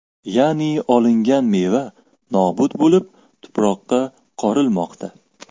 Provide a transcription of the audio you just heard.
Ya’ni, olingan meva nobud bo‘lib, tuproqqa qorilmoqda.